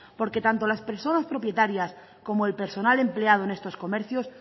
porque tanto las personas propietarias como el personal empleado en estos comercios